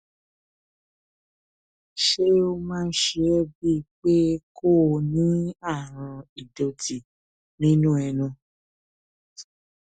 ṣé ó máa ń ṣe é bíi pé kó o ní àrùn ìdòtí nínú ẹnu